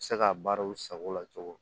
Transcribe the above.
Se ka baaraw sago la cogo di